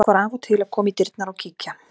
Fólk var af og til að koma í dyrnar og kíkja.